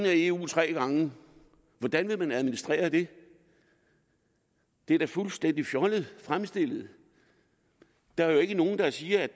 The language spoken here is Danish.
af eu tre gange hvordan vil man administrere det det er da fuldstændig fjollet fremstillet der er jo ikke nogen der siger